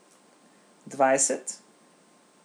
Dvajset?